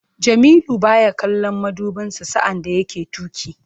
Jamilu baya kallon madubinsa sa'an da yake tuki.